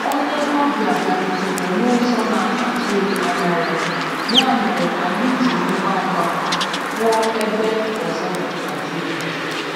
Onye ọbịa bịarutere n'ụzọ na-atụghị anya ya, ya mere anyị ji ngwa ngwa kwụọ ebe ọzọ na tebụl.